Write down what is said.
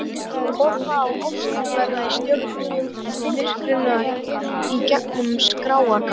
Horfa á ástina verða að stjörnum í myrkrinu í gegnum skráargat.